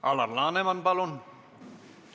Alar Laneman, palun!